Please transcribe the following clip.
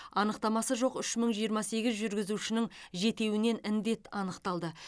анықтамасы жоқ үш мың жиырма сегіз жүргізушінің жетеуінен індет анықталды